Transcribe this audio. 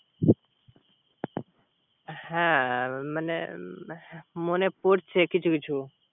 হ্যা মানে পড়ছে কিছু কিছু